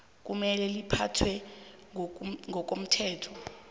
kumele liphathwe ngokomthetho